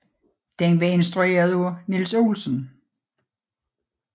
Den var instrueret af Niels Olsen